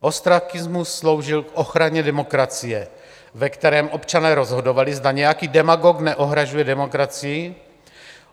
Ostrakismus sloužil k ochraně demokracie, ve kterém občané rozhodovali, zda nějaký demagog neohrožuje demokracii.